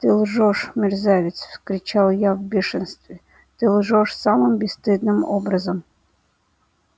ты лжёшь мерзавец вскричал я в бешенстве ты лжёшь самым бесстыдным образом